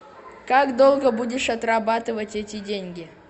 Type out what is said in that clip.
как долго будешь отрабатывать эти деньги